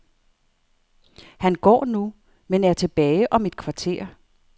Han går nu, men er tilbage om et kvarter.